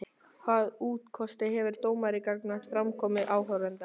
Hvaða úrkosti hefur dómari gagnvart framkomu áhorfenda?